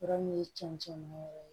Yɔrɔ min ye cɛncɛn yɛrɛ ye